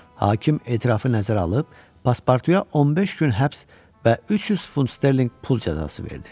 Hakim etirafı nəzərə alıb, Passportuya 15 gün həbs və 300 funt sterlinq pul cəzası verdi.